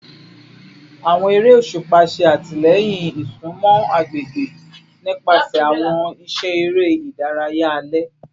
Awọn ere oṣupa ṣe atilẹyin isunmọ agbegbe nipasẹ awọn iṣẹ ere idaraya alẹ